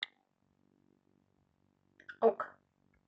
ок